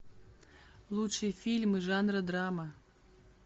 лучшие фильмы жанра драма